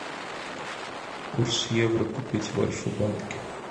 курс евро купить в альфа банке